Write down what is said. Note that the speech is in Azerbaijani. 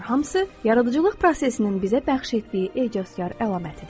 Bunlar hamısı yaradıcılıq prosesinin bizə bəxş etdiyi ecazkar əlamətidir.